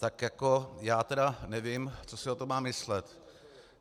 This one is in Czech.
Tak jako já tedy nevím, co si o tom mám myslet.